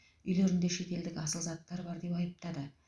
үйлерінде шетелдік асыл заттар бар деп айыптады